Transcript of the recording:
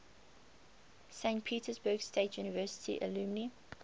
saint petersburg state university alumni